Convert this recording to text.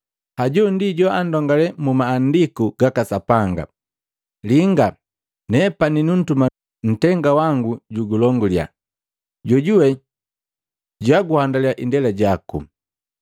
Hajo ndi joandongale mu Maandiku gaka Sapanga, ‘Linga, nepani numtuma ntenga wangu jugulonguliya, jojuwe jwaguhandaliya indela jaku.’ ”